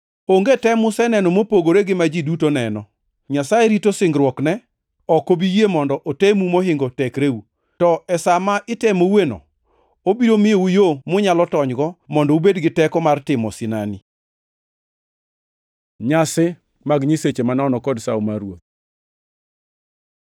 Onge tem museneno mopogore gi ma ji duto neno. Nyasaye rito singruokne, ok obi yie mondo otemu mohingo tekreu. To e sa ma itemoueno, obiro miyou yo munyalo tonygo mondo ubed gi teko mar timo sinani. Nyasi mag nyiseche manono kod Sawo mar Ruoth